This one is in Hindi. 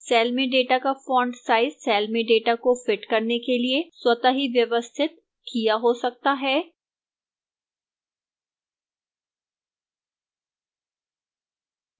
cell में data का font size cell में data को fit करने के लिए स्वतः ही व्यवस्थित किया हो सकता है